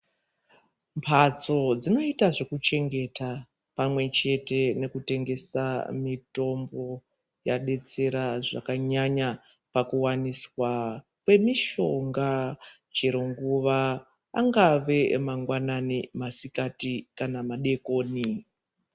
Mbatso dzinoyita zvokuchengeta pamwe chete nekutengesa mitombo, yadetsera zvakanyanya pakuwaniswa kwemishonga chero nguva, angave mangwanani, masikati kana madokoni.